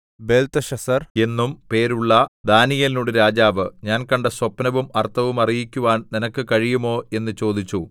Belteshazzar എന്നും പേരുള്ള ദാനീയേലിനോട് രാജാവ് ഞാൻ കണ്ട സ്വപ്നവും അർത്ഥവും അറിയിക്കുവാൻ നിനക്ക് കഴിയുമോ എന്ന് ചോദിച്ചു